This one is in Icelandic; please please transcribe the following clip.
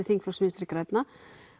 þingflokks Vinstri grænna